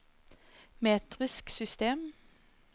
metrisk system